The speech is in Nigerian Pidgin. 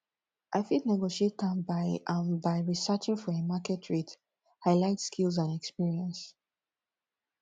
i fit negotiate am by am by researching for a market rate highlight skills and experience